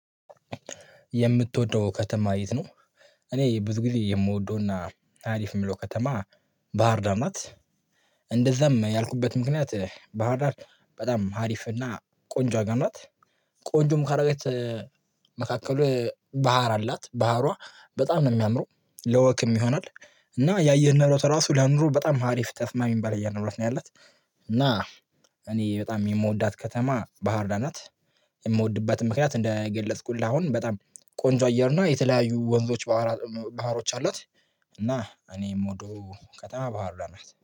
የምትወደው ከተማ የት ነው? እኔ ብዙ ጊዜ የምወደውና አሪፍ የምለው ከተማ ባህር ዳር ናት። እንደዛም ያልኩበት ምክንያት ባህር ዳር በጣም አሪፍና ቆንጆ አገር ናት። ቆንጆም ካደረገች መካከል ባህር አላት። ባህሯ በጣም ነው የሚያምረው። ለወክም ይሆናል እና የአየር ንብረቱ ራሱ ለኑሮ በጣም አሪፍ ተስማሚ የሚባል የአየር ንብረት ነው ያላት እና እኔ በጣም የምወዳት ከተማ ባህርዳር ናት የምወድበትን ምክንያት እንደገለጽኩልህ አሁን በጣም ቆንጆ አየር እና የተለያዩ ወንዞች ባህራት ባህሮች አሏት። እና እኔ የምወደው ከተማ ባህርዳር ናት።